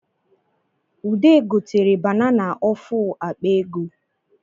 Ude gotere banana ofu akpa ego